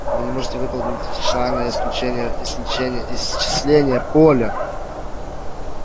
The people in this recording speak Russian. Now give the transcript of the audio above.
вы не можете выполнить дифференциальное исчисление поля